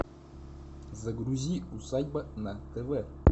загрузи усадьба на тв